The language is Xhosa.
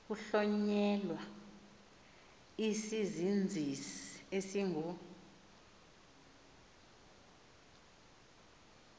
kuhlonyelwa isizinzisi esingu